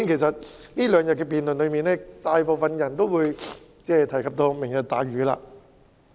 在這兩天的辯論中，大部分議員也有提及"明日大嶼"。